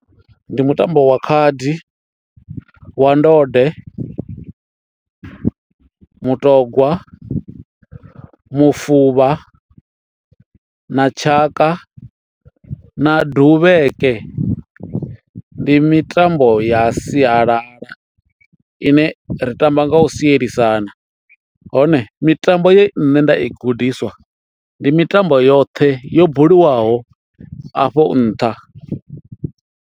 Ndi mutambo wa khadi, wa ndode, mutogwa, mufuvha na tshaka na duvheke ndi mitambo ya sialala ine ri tamba nga u sielisana hone mitambo ye nṋe nda i gudiswa ndi mitambo yoṱhe yo buliwaho afho nṱha.